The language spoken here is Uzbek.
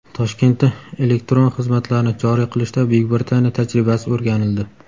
Toshkentda elektron xizmatlarni joriy qilishda Buyuk Britaniya tajribasi o‘rganildi.